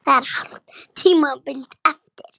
Það er hálft tímabil eftir!